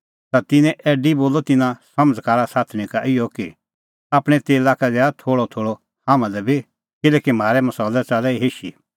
ता तिन्नैं ऐडी बोलअ तिन्नां समझ़कार साथणीं का इहअ कि आपणैं तेला का दैआ थोल़अथोल़अ हाम्हां लै बी किल्हैकि म्हारै मसालै च़ाल्लै हिशी